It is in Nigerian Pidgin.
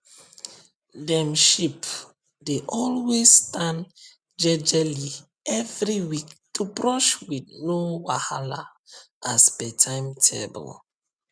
dem sheep dey always stand jejely every week to brush with no wahala as per timetable